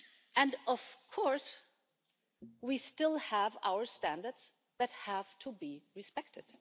And of course, we still have our standards that have to be respected.